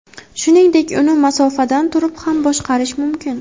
Shuningdek, uni masofadan turib ham boshqarish mumkin.